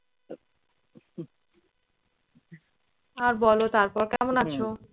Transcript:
আর বলো তারপর কেমন আছো?